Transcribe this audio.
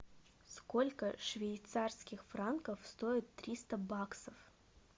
сколько швейцарских франков стоит триста баксов